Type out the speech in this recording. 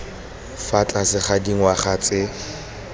fa tlase ga dingwaga tse